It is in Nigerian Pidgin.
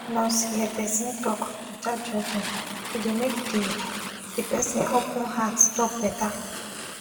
when nurse hear person talk without judging e dey make the the person open heart talk better.